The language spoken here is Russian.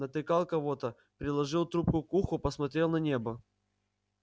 натыкал кого-то приложил трубку к уху посмотрел на небо